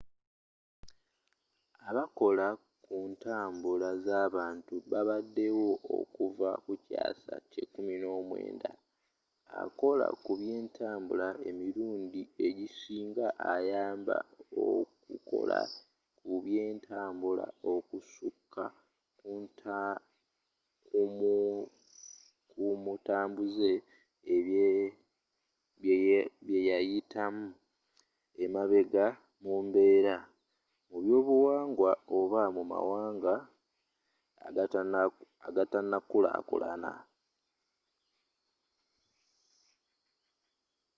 abakola ku ntambula zabantu babadewo okuva kukyaasa kye 19 akola kubyentabula emirundi egisinga ayamba mukukola kubyentambula okusuka ku mutambuze byeyayitamu emabega mu mbeera mubyobuwangwa oba mumawanga agatanakulakulana